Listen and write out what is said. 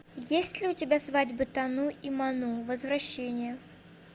есть ли у тебя свадьба тану и ману возвращение